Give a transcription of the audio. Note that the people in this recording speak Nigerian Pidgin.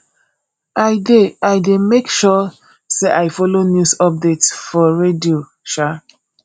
i dey i dey make sure sey i folo news update for radio um